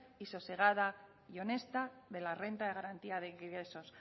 sosegada y honesta de la renta de garantía de ingresos